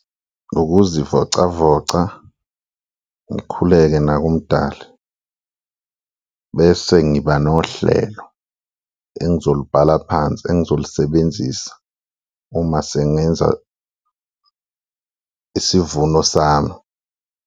Ukuzivocavoca ngikhuleke nakuMdali bese ngiba nohlelo engizolibhala phansi, engizolisebenzisa uma sengenza isivuno sami.